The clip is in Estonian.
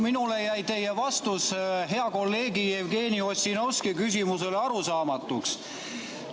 Minule jäi teie vastus hea kolleegi Jevgeni Ossinovski küsimusele arusaamatuks.